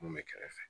Mun bɛ kɛrɛfɛ